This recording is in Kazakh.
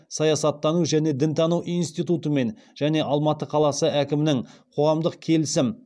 саясаттану және дінтану институтымен және алматы қаласы әкімінің коғамдық келісім